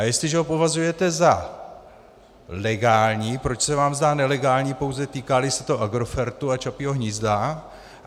A jestliže ho považuje za legální, proč se vám zdá nelegální, pouze týká-li se to Agrofertu a Čapího hnízda.